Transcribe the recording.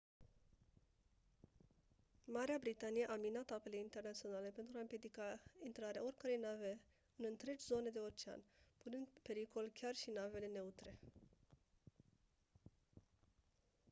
marea britanie a minat apele internaționale pentru a împiedica intrarea oricăror nave în întregi zone de ocean punând în pericol chiar și navele neutre